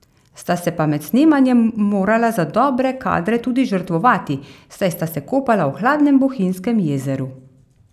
Sta se pa med snemanjem morala za dobre kadre tudi žrtvovati, saj sta se kopala v hladnem Bohinjskem jezeru.